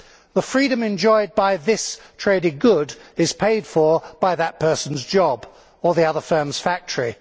The freedom enjoyed by this traded good is paid for by that person's job, or the other firm's factory.